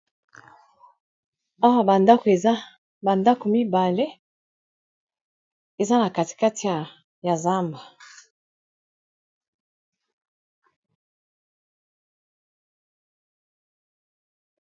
Awa bandako eza bandako mibale eza na katikati ya zamba